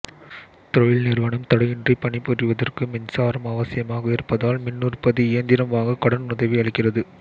தொழில் நிறுவனம் தடையின்றி பணிபுரிவதற்கு மின்சாரம் அவசியமாக இருப்பதால் மின்னுற்பத்தி இயந்திரம் வாங்க க்டனுதவி அளிக்கிறது